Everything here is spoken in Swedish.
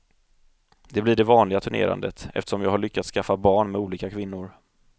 Det blir det vanliga turnerandet, eftersom jag har lyckats skaffa barn med olika kvinnor.